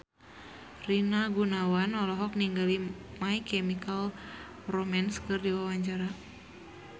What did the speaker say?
Rina Gunawan olohok ningali My Chemical Romance keur diwawancara